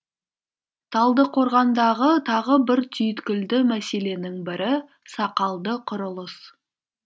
талдықорғандағы тағы бір түйткілді мәселенің бірі сақалды құрылыс